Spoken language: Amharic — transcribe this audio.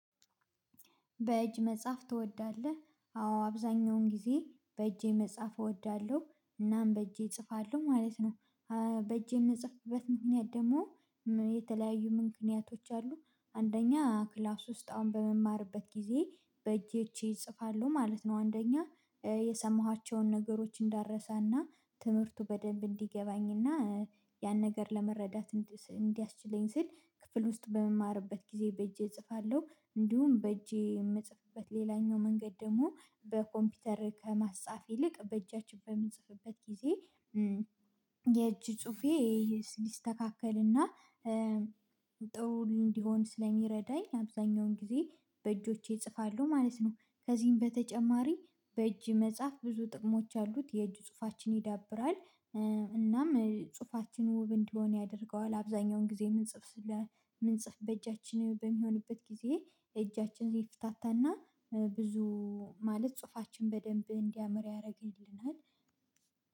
በእጅ መጻፍ ትወዳለህ? አዎ አብዛኛውን ጊዜ በእጄ መጻፍ እወዳለሁ እናም በእጄ እጽፋለሁ ማለት ነው። በእጄ የምጽፍበት ምክንያት ደግሞ የተለያዩ ምክንያቶች አሉ። አንደኛ ክላስ ውስጥ አሁን በምማርበት ጊዜ በእጆቸ እጽፋለሁ ማለት ነው አንደኛ የሰማኋቸውን ነገሮች እንዳረሳና ትምህርቱ በደንብ እንዲገባኝና ያን ነገር ለመረዳት እንዲያስችለኝ ስል ክፍል ውስጥ በምማርበት ጊዜ በእጄ እጽፋለሁ። እንዲሁም በእጄ የምጽፍበት ሌላኛው መንገድ ደግሞ በኮምፒውተር ከማፃፍ ይልቅ በእጃችን በምንጽፍበት ጊዜ የእጅ ጽሁፌ ሊስተካከልና ጥሩ እንዲሆን ስለሚረዳኝ አብዛኛውን ጊዜ በእጆቼ እጽፋለሁ ማለት ነው። ከዚህም በተጨማሪ በእጅ መጽሐፍ ብዙ ጥቅሞች አሉት የእጁ ጽሁፋችን ይዳብራል። እናም ጽሁፋችን ውብ እንዲሆን ያደርገዋል አብዛኛውን ጊዜ እምንጽፍ እምንጽፍ በእጃችን በሚሆንበት ጊዜ እጃችን ይፍታታና ብዙ ማለት ጽሁፋችን በደንብ እንዲያምር ያደርግልናል።